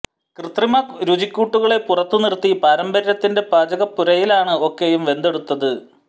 കൃത്രിമ രുചിക്കൂട്ടുകളെ പുറത്തു നിര്ത്തി പാരമ്പര്യത്തിന്റെ പാചകപ്പുരയിലാണ് ഒക്കെയും വെന്തെടുത്തത്